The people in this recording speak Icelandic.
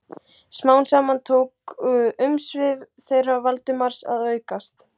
Smám saman tóku umsvif þeirra Valdimars að aukast.